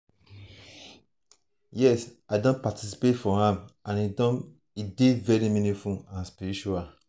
yes i don participate for am and e dey very meaningful and spiritual.